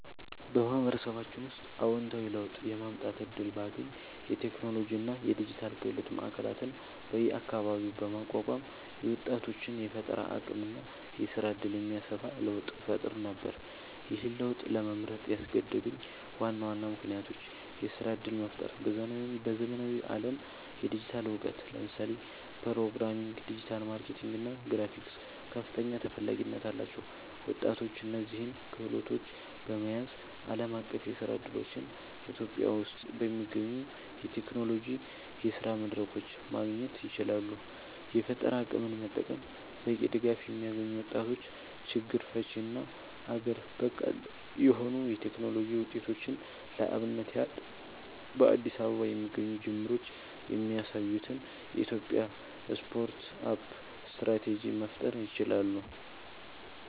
በማህበረሰባችን ውስጥ አወንታዊ ለውጥ የማምጣት እድል ባገኝ፣ የቴክኖሎጂ እና የዲጂታል ክህሎት ማዕከላት በየአካባቢው በማቋቋም የወጣቶችን የፈጠራ አቅም እና የስራ እድል የሚያሰፋ ለውጥ እፈጥር ነበር። ይህን ለውጥ ለመምረጥ ያስገደዱኝ ዋና ዋና ምክንያቶች -የስራ እድል መፍጠር በዘመናዊው ዓለም የዲጂታል እውቀት (ለምሳሌ ፕሮግራሚንግ፣ ዲጂታል ማርኬቲንግ እና ግራፊክስ) ከፍተኛ ተፈላጊነት አላቸው። ወጣቶች እነዚህን ክህሎቶች በመያዝ ዓለም አቀፍ የስራ እድሎችን [ኢትዮጵያ ውስጥ በሚገኙ የቴክኖሎጂ የስራ መድረኮች] ማግኘት ይችላሉ። የፈጠራ አቅምን መጠቀም በቂ ድጋፍ የሚያገኙ ወጣቶች ችግር ፈቺ እና አገር በቀል የሆኑ የቴክኖሎጂ ውጤቶችን (ለአብነት ያህል በአዲስ አበባ የሚገኙ ጅምሮች የሚያሳዩትን [የኢትዮጵያ ስታርት አፕ ስትራቴጂ]) መፍጠር ይችላሉ።